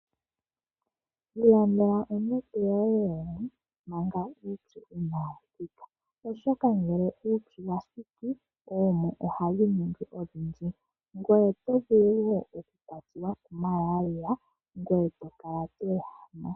Ilandela onete yoye yoomwe manga uutsu inaawuthika ,oshoka ngele uutsu shampa wathiki oomwe ohadhiningi odhindji ,gwee wiikekele okukwatiwa ku Malaria gwee tokala tweehama.